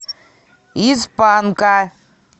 из панка